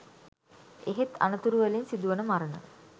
එහෙත් අනතුරු වලිං සිදු වන මරණ